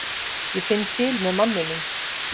Ég finn til með manninum.